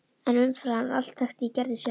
En umfram allt þekkti ég Gerði sjálf.